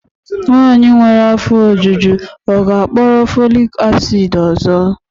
Nwanyị nwere afọ ojuju ọ ga-akpọrọ folic acid ọzọ?